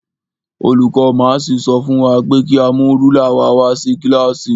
Olùkó máàsì sọ fún wa pé ka mú rúlà wa wá sí kílàsì.